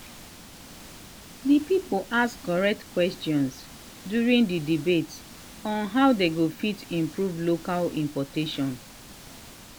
the people ask correct questions during the debate on how dey fit improve local transportation